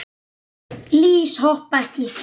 Lýs hoppa ekki.